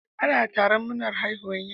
Ana taron murnar haihuwar yara.